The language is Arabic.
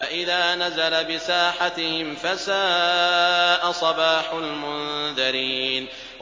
فَإِذَا نَزَلَ بِسَاحَتِهِمْ فَسَاءَ صَبَاحُ الْمُنذَرِينَ